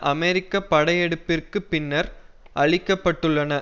அமெரிக்க படையெடுப்பிற்கு பின்னர் அழிக்கப்பட்டுள்ளன